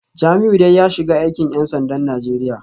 Jamiu dai ya shiga aikin ‘yan sandan Najeriya